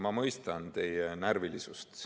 Ma mõistan teie närvilisust.